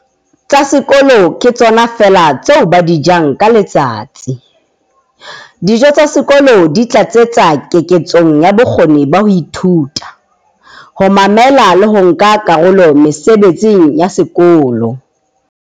"tsa sekolo ke tsona feela tseo ba di jang ka letsatsi. Dijo tsa sekolo di tlatsetsa keketsong ya bokgoni ba ho ithuta, ho mamela le ho nka karolo mesebetsing ya sekolo".